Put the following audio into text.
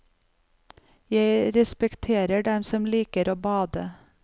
Jeg respekterer dem som liker å bade.